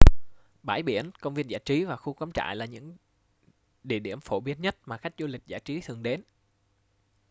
bãi biển công viên giải trí và khu cắm trại là những địa điểm phổ biến nhất mà khách du lịch giải trí thường đến